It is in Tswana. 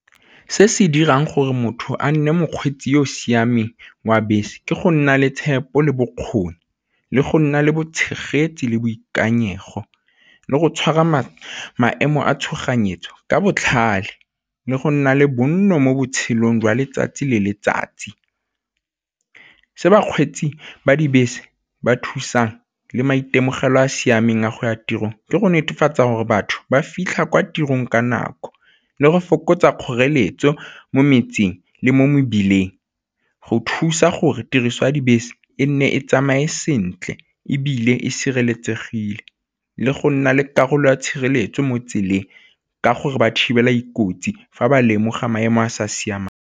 Se se dirang gore motho a nne mokgweetsi yo o siameng wa bese ke go nna le tshepo le bokgoni le go nna le bo tshegetsi le boikanyego le go tshwara maemo a tshoganyetso ka botlhale, le go nna le bonno mo botshelong jwa letsatsi le letsatsi. Se bakgweetsi ba dibese ba thusang le maitemogelo a a siameng a go ya tirong, ke go netefatsa gore batho ba fitlha kwa tirong ka nako le go fokotsa kgoreletso mo metseng le mo mebileng go thusa gore tiriso ya dibese e nne e tsamaye sentle, ebile e sireletsegile le go nna le karolo ya tshireletso mo tseleng, ka gore ba thibela dikotsi fa ba lemoga maemo a sa siamang.